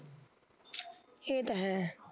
ਏਹ ਤਾਂ ਹੈ